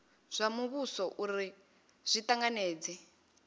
zwa muvhuso uri zwi tanganedze